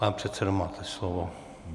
Pane předsedo, máte slovo.